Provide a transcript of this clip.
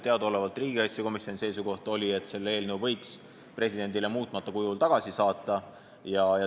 Teadaolevalt oli riigikaitsekomisjoni seisukoht, et selle seaduse võiks presidendile muutmata kujul tagasi saata.